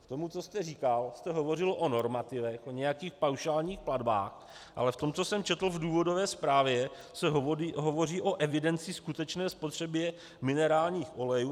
V tom, co jste říkal, jste hovořil o normativech, o nějakých paušálních platbách, ale v tom, co jsem četl v důvodové zprávě, se hovoří o evidenci skutečné spotřeby minerálních olejů.